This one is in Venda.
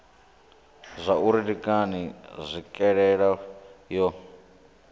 zwauri ndi ngani tswikelelo yo